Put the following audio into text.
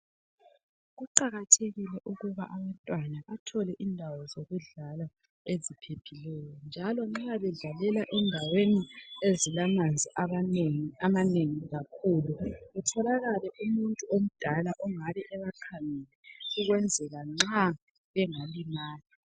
Kuqakathekile ukuba abantwana bathole indawo zokudlala eziphephileyo njalo nxa bedlalela endaweni ezilamanzi amanengi kutholakale umuntu omdala ongabe ebakhangele ukwenzela nxa bengalimala.